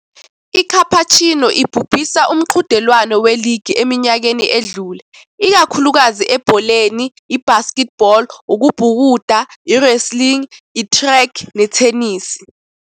ICapuchino ibibusa umqhudelwano weligi eminyakeni edlule, ikakhulukazi ebholeni, ibasketball, ukubhukuda, i-wrestling, i-track, nethenisi.